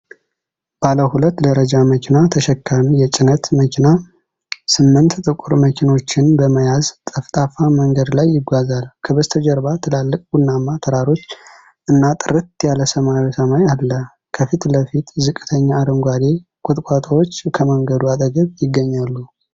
ባለ ሁለት ደረጃ መኪና ተሸካሚ የጭነት መኪና ስምንት ጥቁር መኪኖችን በመያዝ ጠፍጣፋ መንገድ ላይ ይጓዛል። ከበስተጀርባ ትላልቅ ቡናማ ተራሮች እና ጥርት ያለ ሰማያዊ ሰማይ አለ። ከፊት ለፊት ዝቅተኛ አረንጓዴ ቁጥቋጦዎች ከመንገዱ አጠገብ ይገኛሉ።